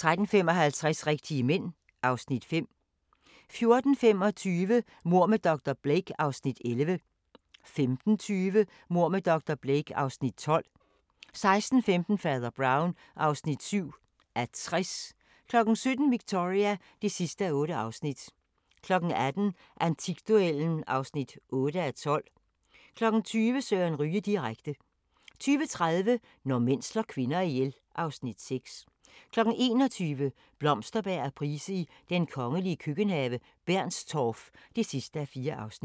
13:55: Rigtige mænd (Afs. 5) 14:25: Mord med dr. Blake (Afs. 11) 15:20: Mord med dr. Blake (Afs. 12) 16:15: Fader Brown (7:60) 17:00: Victoria (8:8) 18:00: Antikduellen (8:12) 20:00: Søren Ryge direkte 20:30: Når mænd slår kvinder ihjel (Afs. 6) 21:00: Blomsterberg og Price i den kongelige køkkenhave: Bernstorff (4:4)